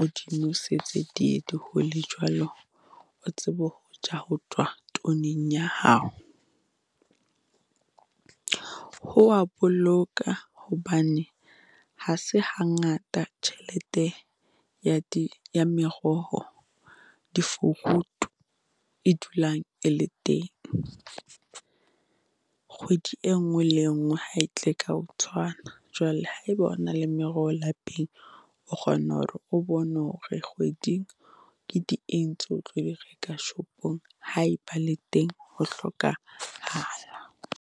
o di nosetse, di ye di hole jwalo. O tsebe ho ja ho tswa tweneng ya hao. Ho a boloka hobane ha se hangata tjhelete ya di ya meroho di fruit e dulang e le teng. Kgwedi e ngwe le e ngwe ha e tle ka o tshwana. Jwale ha eba o na le meroho lapeng, o kgona hore o bone hore kgweding ke di eng tseo tlo di reka shopong ha eba le teng ho hlokahala.